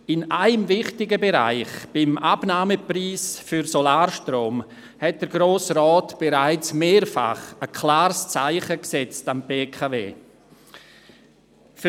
In einem wichtigen Bereich, beim Abnahmepreis für Solarstrom, hat der Grosse Rat bereits mehrfach ein klares Zeichen gegenüber der BKW gesetzt.